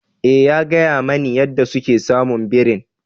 Eh, ya gaya mani yadda suka samu birin.